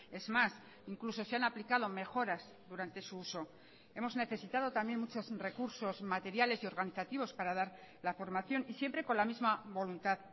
es más incluso se han aplicado mejoras durante su uso hemos necesitado también muchos recursos materiales y organizativos para dar la formación y siempre con la misma voluntad